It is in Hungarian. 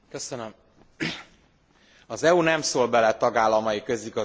Az EU nem szól bele a tagállamai közigazgatási berendezkedésébe.